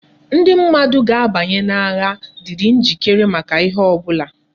Ndi mmadu ga abanye na agha diri njikere maka ihe obula